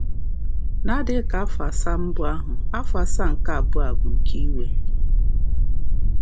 N’adịghị ka afọ asaa mbụ ahụ, afọ asaa nke abụọ a bụ nke iwe.